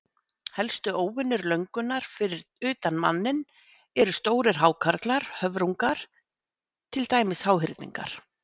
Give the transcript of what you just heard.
Helstu óvinir löngunnar fyrir utan manninn eru stórir hákarlar, höfrungar, til dæmis háhyrningar.